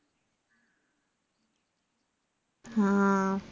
ആ